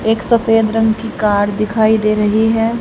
एक सफेद रंग की कार दिखाई दे रही है।